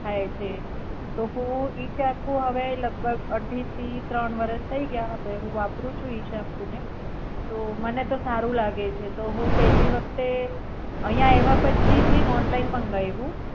થાય છે તો હું ઈ સેમ્પુ હવે લગભગ અઢી થી ત્રણ વરસ થાય ગયા હવે હું વાપરું છું ઈબ સેમ્પુ ને તો મને તો સારું લાગેછે તો હું પેલી વખતે અહીંયા આયવા પછી મેં ઓનલાઇન મંગાયવું.